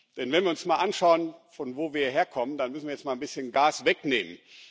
Denn wenn wir uns mal anschauen, von wo wir herkommen, dann müssen wir jetzt mal ein bisschen Gas wegnehmen.